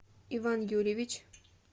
иван юрьевич